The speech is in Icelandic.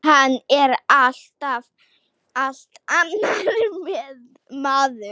Hann er allt annar maður.